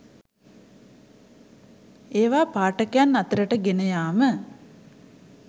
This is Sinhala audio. ඒවා පාඨකයන් අතරට ගෙන යාම